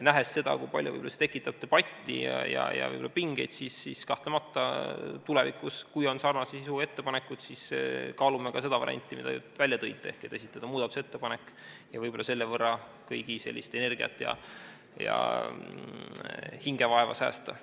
Nähes seda, kui palju see tekitab debatti ja võib-olla ka pingeid, siis kahtlemata tulevikus, kui on sarnase sisuga ettepanekud, me kaalume ka seda varianti, mida te välja tõite, ehk et esitada muudatusettepanek ja võib-olla selle võrra säästa kõigi energiat ja säästa neid hingevaevast.